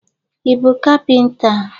Ị bụ kapịnta?